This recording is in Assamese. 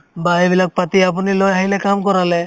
বা এইবিলাক পাতি আপুনি লৈ আহিলে কাম কৰালে